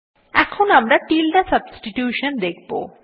এখন আমরা টিল্ডে সাবস্টিটিউশন দেখব